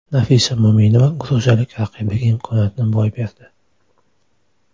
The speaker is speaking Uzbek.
Nafisa Mo‘minova gruziyalik raqibiga imkoniyatni boy berdi.